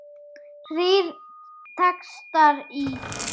Þrír textar í